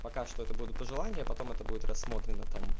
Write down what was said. пока что это буду пожелание потом это будет рассмотрено там